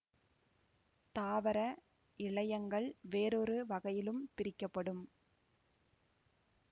தாவர இழையங்கள் வேறொரு வகையிலும் பிரிக்க படும்